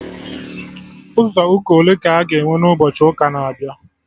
Ụzọ ụka ole ka a ga-enwe na ụbọchị ụka na-abịa?